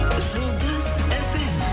жұлдыз фм